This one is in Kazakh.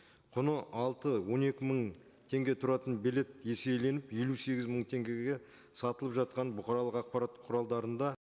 құны алты он екі мың теңге тұратын билет есейленіп елу сегіз мың теңгеге сатылып жатқанын бұқаралық ақпарат құралдарында